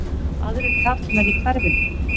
Aðrir karlmenn í hverfinu?